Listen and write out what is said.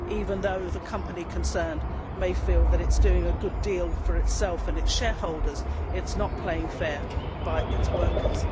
Even though the company concerned may feel that it is doing a good deal for itself and its shareholders, it is not playing fair by its workers.